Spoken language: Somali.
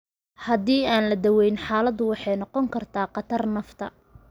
Haddii aan la daweyn, xaaladdu waxay noqon kartaa khatar nafta.